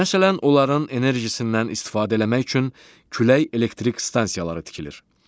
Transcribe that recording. Məsələn, onların enerjisindən istifadə eləmək üçün külək elektrik stansiyaları tikilir.